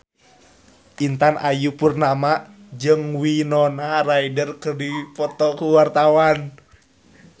Intan Ayu Purnama jeung Winona Ryder keur dipoto ku wartawan